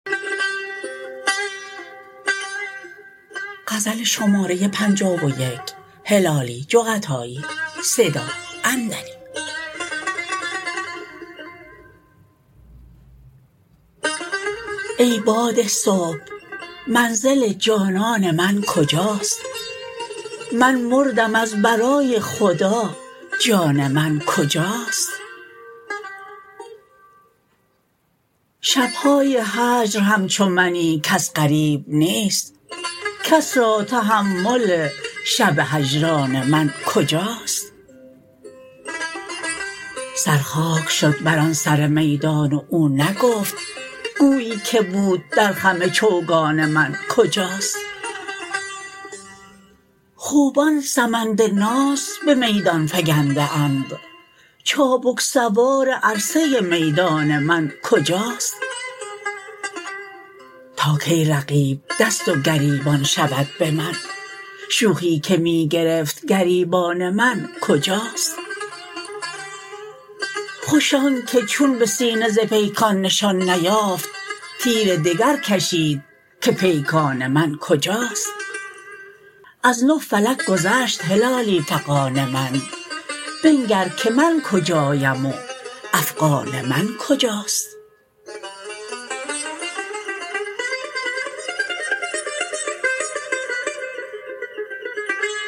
ای باد صبح منزل جانان من کجاست من مردم از برای خدا جان من کجاست شبهای هجر همچو منی کس غریب نیست کس را تحمل شب هجران من کجاست سر خاک شد بر آن سر میدان و او نگفت گویی که بود در خم چوگان من کجاست خوبان سمند ناز بمیدان فگنده اند چابک سوار عرصه میدان من کجاست تا کی رقیب دست و گریبان شود بمن شوخی که می گرفت گریبان من کجاست خوش آنکه چون بسینه ز پیکان نشان نیافت تیر دگر کشید که پیکان من کجاست از نه فلک گذشت هلالی فغان من بنگر که من کجایم و افغان من کجاست